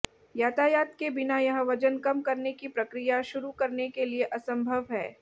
यातायात के बिना यह वजन कम करने की प्रक्रिया शुरू करने के लिए असंभव है